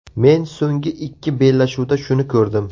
Men so‘nggi ikki bellashuvda shuni ko‘rdim.